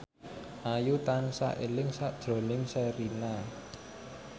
Ayu tansah eling sakjroning Sherina